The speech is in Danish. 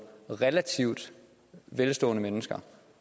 relativt velstående mennesker